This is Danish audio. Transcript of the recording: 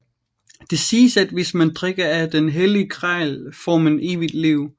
Det siges at hvis man drikker af den hellige gral får man evigt liv